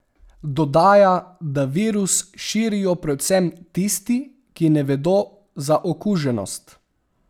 Dodaja, da virus širijo predvsem tisti, ki ne vedo za okuženost.